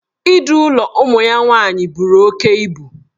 Idu ụlọ ụmụ ya nwaanyị buru oke ibu.